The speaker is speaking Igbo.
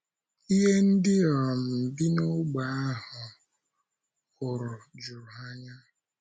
Ihe ndị um bi n’ógbè ahụ hụrụ juru ha anya.